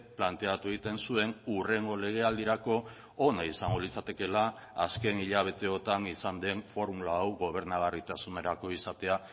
planteatu egiten zuen hurrengo legealdirako ona izango litzatekeela azken hilabeteotan izan den formula hau gobernagarritasunerako izatea